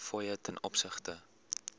fooie ten opsigte